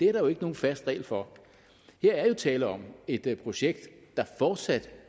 er der jo ikke nogen fast regel for her er tale om et projekt der fortsat